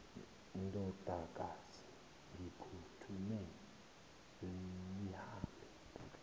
ndodakazi ngiphuthume lihambe